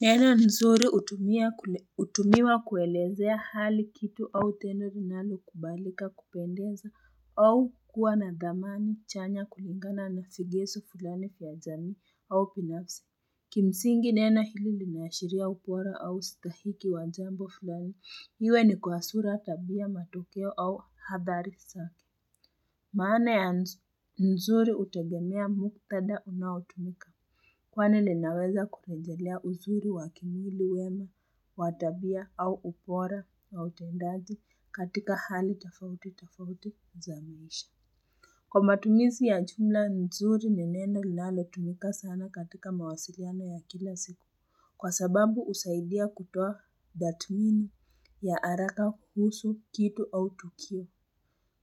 Neno nzuri hutumiwa kuelezea hali kitu au tendo linalokubalika kupendeza au kuwa na thamani chanya kulingana na segezo fulani vya jamii au binafsi. Kimsingi neno hili limeashiria ubora au stahiki wa jambo fulani. Iwe ni kwa sura tabia matokeo au hadhari zake. Maana ya nzuri hutegemea muktadha unaotumika. Kwani linaweza kurejelea uzuri wa kimwili wema wa tabia au ubora wa utendaji katika hali tofauti tofauti za maisha. Kwa matumizi ya jumla nzuri ni neno linalotumika sana katika mawasiliano ya kila siku. Kwa sababu husaidia kutoa tathmini ya haraka kuhusu kitu au tukio.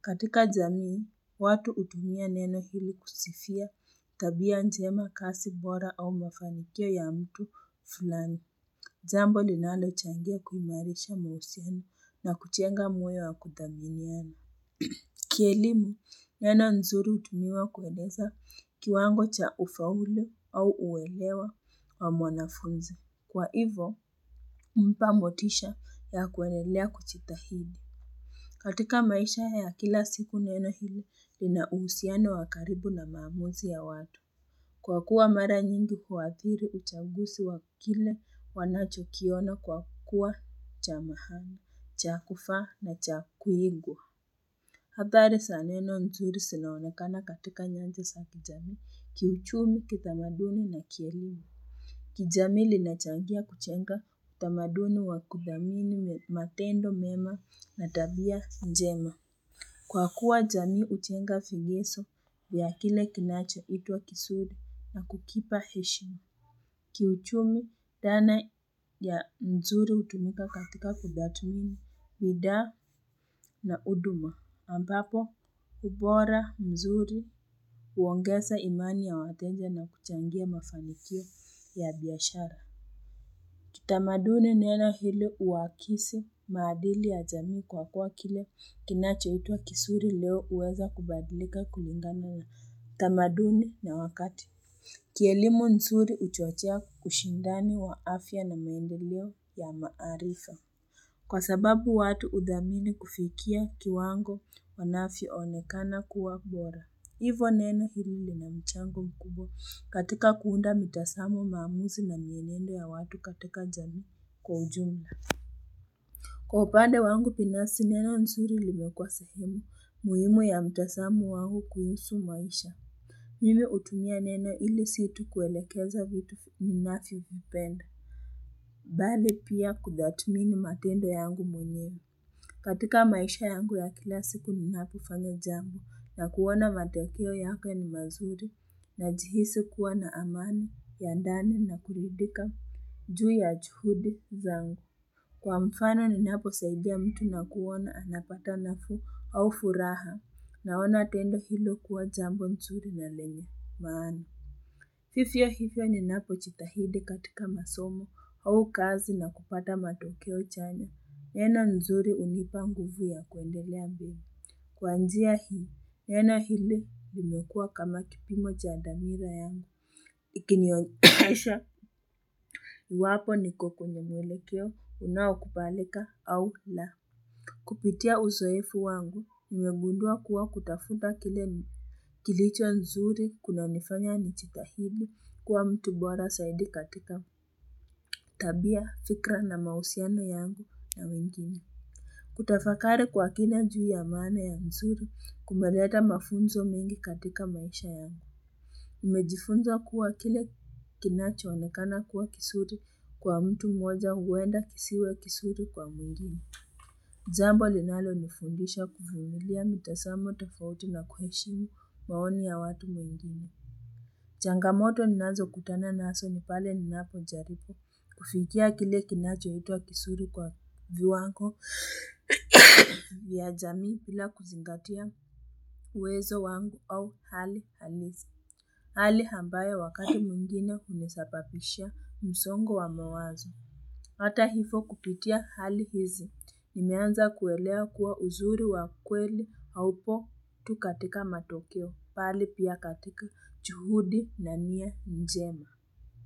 Katika jamii, watu hutumia neno hili kusifia tabia njema kazi bora au mafanikio ya mtu fulani. Jambo linalo changia kuimarisha mahusiano na kujenga moyo wa kuthaminiana. Kielimu, neno nzuri hutumiwa kueleza kiwango cha ufaulu au uelewa wa mwanafuzi. Kwa hivo, mpa motisha ya kuendelea kujitahidi. Katika maisha ya kila siku neno hili, lina uhusiano wa karibu na maamuzi ya watu. Kwa kuwa mara nyingi huadhiri uchaguzi wa kile wanacho kiona kwa kuwa cha maana, cha kufaa na cha kuigwa. Hadhari za neno nzuri zinaonekana katika nyanja za kijamii, kiuchumi, kitamaduni na kielimu. Kijamii linachangia kujenga, utamaduni wa kuthamini matendo mema na tabia njema. Kwa kuwa jamii hujenga vigizo vya kile kinacho itwa kizuri na kukipa heshima. Kiuchumi dhana ya mzuri hutumika katika kutathmini, bidhaa na huduma. Ambapo ubora mzuri huongeza imani ya wateja na kuchangia mafanikio ya biashara. Kitamaduni neno hili huakisi maadili ya jamii kwa kwa kile kinachoitwa kizuri leo huweza kubadilika kulingana na tamaduni na wakati. Kielimu nzuri huchochea kushindani wa afya na maendeleo ya maarifa. Kwa sababu watu huthamini kufikia kiwango wanavyo onekana kuwa bora. Hivo neno hili lina michango mkubwa katika kuunda mitazamo maamuzi na mienende ya watu katika jamii kwa ujumla. Kwa upande wangu binasi neno nzuri limekuwa sehemu muhimu ya mitazamo wangu kuhusu maisha. Mimi hutumia neno ili si tu kuelekeza vitu ninavyo vipenda. Bali pia kutathmini matendo yangu mwenyewe. Katika maisha yangu ya kila siku ninapofanya jambo na kuona matokeo yake ni mazuri najihisi kuwa na amani ya ndani na kuridhika juu ya juhudi zangu. Kwa mfano ninapo saidia mtu na kuona anapata nafuu au furaha na ona tendo hilo kuwa jambo mzuri na lenye maana. Vivyo hivyo ninapo jitahidi katika masomo au kazi na kupata matokeo chanya. Neno nzuri hunipa nguvu ya kuendelea bei. Kwa njia hii, neno hili limekua kama kipimo cha damira yangu. Ikinionyesha, iwapo niko kwenye mwelekeo unao kubalika au la. Kupitia uzoefu wangu, nimegundua kuwa kutafuta kile Kilicho nzuri kunanifanya nijitahidi kuwa mtu bora zaidi katika tabia, fikra na mahusiano yangu na wengine. Kutafakari kwa kina juu ya maana ya nzuri kumeleta mafunzo mengi katika maisha yangu. Nimejifunza kuwa kile kinacho onekana kuwa kizuri kwa mtu mmoja huwenda kisiwe kizuri kwa mwingine. Jambo linalo nifundisha kuvumilia mitazamo tofauti na kuheshimu maoni ya watu mwingine. Changamoto ninazo kutana nazo ni pale ninapo jaribu kufikia kile kinacho itwa kizuri kwa viwango vya jamii bila kuzingatia uwezo wangu au hali halisi Hali ambayo wakati mwingine hunisababishia msongo wa mawazo Hata hivo kupitia hali hizi, nimeanza kuelewa kuwa uzuri wa kweli haupo tu katika matokeo, bali pia katika juhudi na nia njema.